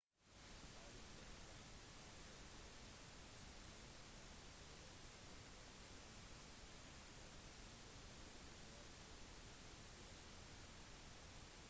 siden den gang har brasilianeren spilt 53 kamper for klubben i alle turneringer og scoret 24 mål